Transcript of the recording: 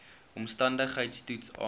omstandigheids toets aandui